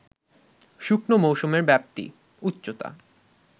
শুকনো মৌসুমের ব্যাপ্তি, উচ্চতা